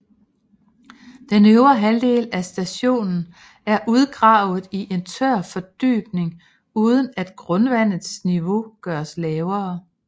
Den øvre halvdel af stationen er udgravet i en tør fordybning uden at grundvandets niveau gøres lavere